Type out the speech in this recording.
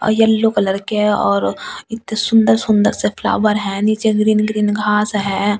औ yellow colour के और इत्ते सुंदर-सुंदर से फ्लावर है नीचे ग्रीन ग्रीन घास है।